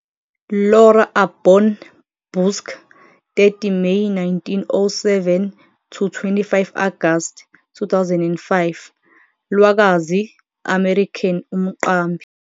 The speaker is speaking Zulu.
Lora Aborn Busck, 30 May 1907 - 25 Agasti 2005, lwakwazi American umqambi.